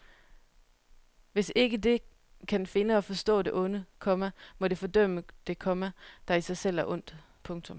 Hvis ikke det kan finde og forstå det onde, komma må det fordømme det, komma der i sig selv er ondt. punktum